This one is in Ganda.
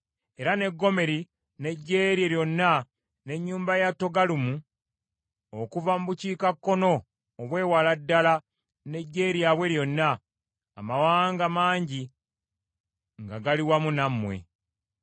era ne Gomeri n’eggye lye lyonna, n’ennyumba ya Togaluma okuva mu bukiikakkono obw’ewala ddala n’eggye lyabwe lyonna, amawanga mangi nga gali wamu nammwe.